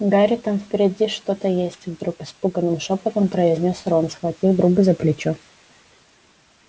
гарри там впереди что-то есть вдруг испуганным шёпотом произнёс рон схватив друга за плечо